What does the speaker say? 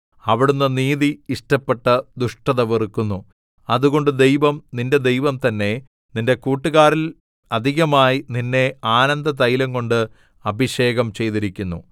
അവിടുന്ന് നീതി ഇഷ്ടപ്പെട്ട് ദുഷ്ടത വെറുക്കുന്നു അതുകൊണ്ട് ദൈവം നിന്റെ ദൈവം തന്നെ നിന്റെ കൂട്ടുകാരിൽ അധികമായി നിന്നെ ആനന്ദതൈലം കൊണ്ട് അഭിഷേകം ചെയ്തിരിക്കുന്നു